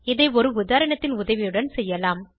இதை ஒரு உதாரணத்தின் உதவியுடன் செய்வோம்